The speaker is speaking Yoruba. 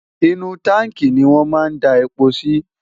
inú táǹkì ni wọn máa n da epo si